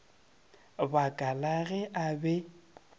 baka la ge a be